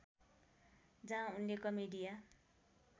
जहाँ उनले कमेडिया